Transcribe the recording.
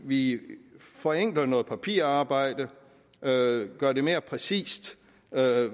vi forenkler noget papirarbejde gør det mere præcist